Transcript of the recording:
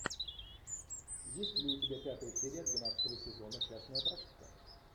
есть ли у тебя пятая серия двенадцатого сезона частная практика